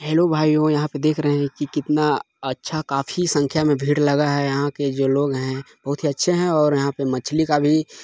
hello भाइयों यहाँ पे देख रहे है के कितना अच्छा काफी संख्या में भीड़ लगा है यहाँ के जो लोग हैं बहुत ही अच्छे हैं और यहाँ पे मछली का भी--